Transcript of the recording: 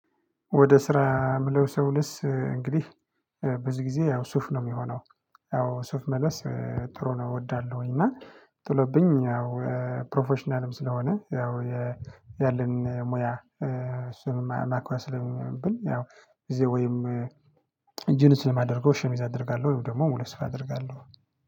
ወደ ስራ የምለብሰው ልብስ እንግዲህ ብዙ ጊዜ ያው ሱፍ ነው የሚሆነው ያው ሱፍ መልበስ ጥሩ ነው እወዳለሁኝ። እና ጥሎብኝ ያው ፕሮፌሽናልም ስለሆነ ያው ያለኝ ሙያ እሱንም ማክበር ስለሚኖርብኝ ያው ጊዜ ወይም ጅንስ ነው ማደርገው ሸሚዝ አደርጋለሁ ወይም ደግሞ ሁለት ሱፍ አደርጋለሁ